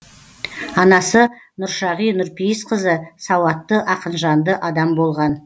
анасы нұршағи нұрпейісқызы сауатты ақынжанды адам болған